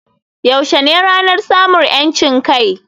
Yaushe ne ranar samun 'yancin kai?